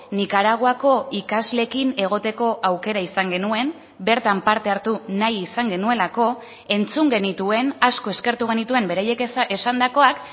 nikaraguako ikasleekin egoteko aukera izan genuen bertan parte hartu nahi izan genuelako entzun genituen asko eskertu genituen beraiek esandakoak